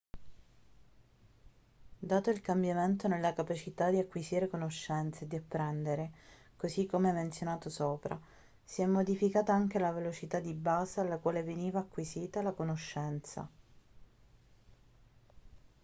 dato il cambiamento nella capacità di acquisire conoscenza e di apprendere così come menzionato sopra si è modificata anche la velocità di base alla quale veniva acquisita la conoscenza